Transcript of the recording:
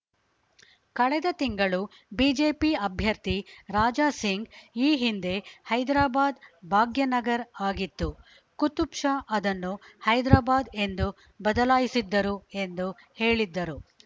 ಕಳೆದ ತಿಂಗಳು ಬಿಜೆಪಿ ಅಭ್ಯರ್ಥಿ ರಾಜಾ ಸಿಂಗ್‌ ಈ ಹಿಂದೆ ಹೈದರಾಬಾದ್‌ ಭಾಗ್ಯನಗರ್‌ ಆಗಿತ್ತು ಕುತುಬ್‌ ಶಾ ಅದನ್ನು ಹೈದರಾಬಾದ್‌ ಎಂದು ಬದಲಾಯಿಸಿದ್ದರು ಎಂದು ಹೇಳಿದ್ದರು